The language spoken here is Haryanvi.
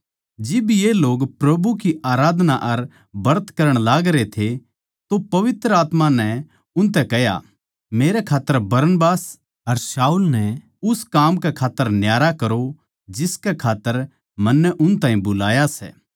जिब ये लोग प्रभु की आराधना अर ब्रत करण लागरे थे तो पवित्र आत्मा नै उनतै कह्या मेरै खात्तर बरनबास अर शाऊल नै उस काम कै खात्तर न्यारा करो जिसकै खात्तर मन्नै उन ताहीं बुलाया सै